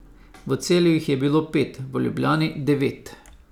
V Celju jih je bilo pet, v Ljubljani devet ...